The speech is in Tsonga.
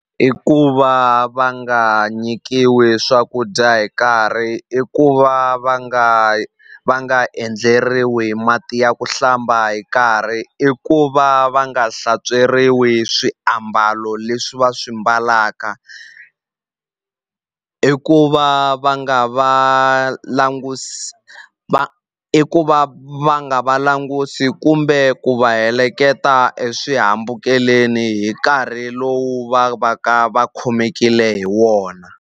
I ku va va nga nyikiwi swakudya hi nkarhi i ku va va nga va nga endleriwi mati ya ku hlamba hi nkarhi i ku va va nga hlantsweriwi swiambalo leswi va swi mbalaka i ku va va nga va langusi va i ku va va nga va langusi kumbe ku va heleketa eswihambukelweni hi nkarhi lowu va va ka va khomekile hi wona.